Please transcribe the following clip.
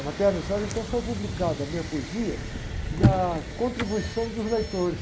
A matéria não saiu, então saiu publicada a minha poesia na contribuição dos leitores.